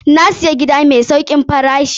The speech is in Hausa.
Na siya gida mai saukin farashi.